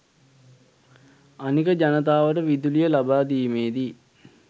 අනික ජනතාවට විදුලිය ලබාදීමේදී